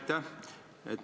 Jah, aitäh!